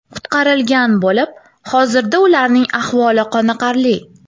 qutqarilgan bo‘lib, hozirda ularning ahvoli qoniqarli.